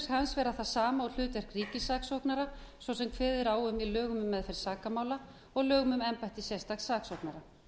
hans vera það sama og hlutverk ríkissaksóknara svo sem kveðið er á um meðferð sakamála og lögum um embætti sérstaks saksóknara